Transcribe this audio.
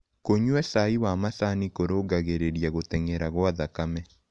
Kũnyua cai wa macanĩ kũrũngagĩrĩrĩa gũtengera gwa thakame